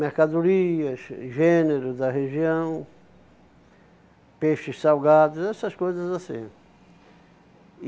Mercadorias, gêneros da região, peixes salgados, essas coisas assim.